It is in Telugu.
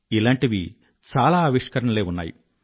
ఇలాంటివి చాలా అవిష్కరణలే ఉన్నాయి